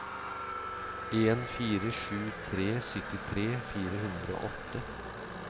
en fire sju tre syttitre fire hundre og åtte